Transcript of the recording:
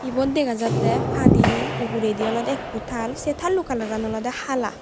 eyot dega jatte padi uguredi olode ekko taal se taalo colour olode hala.